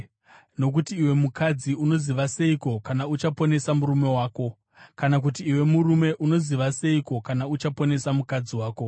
Nokuti iwe mukadzi unoziva seiko, kana uchaponesa murume wako? Kana, kuti iwe murume unoziva seiko, kana uchaponesa mukadzi wako?